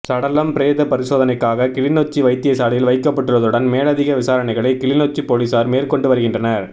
சடலம் பிரேத பரிசோதனைக்காக கிளிநொச்சி வைத்தியசாலையில் வைக்கப்பட்டுள்ளதுடன் மேலதிக விசாரணைகளை கிளிநொச்சி பொலிசார் மேற்கொண்டு வருகின்றனர்